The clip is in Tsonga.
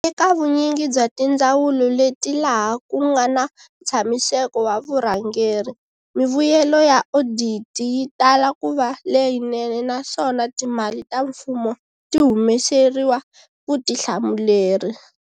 Eka vunyingi bya tindzawulo leti laha ku nga na ntshamiseko wa vurhangeri, mivuyelo ya oditi yi tala ku va leyinene naswona timali ta mfumo ti humeseriwa vutihlamuleri.